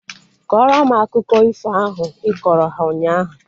Kọrọ m akụkọ ifo ahu ịkọrọ ha ụnyaahụ!